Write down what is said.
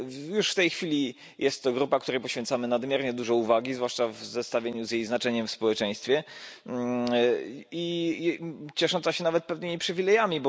Już w tej chwili jest to grupa, której poświęcamy nadmiernie dużo uwagi, zwłaszcza w zestawieniu z jej znaczeniem w społeczeństwie, i ciesząca się nawet pewnymi przywilejami.